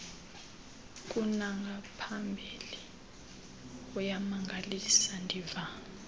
kunangaphambili kuyamangalisa ndiva